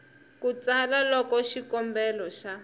ku tsala loko xikombelo xa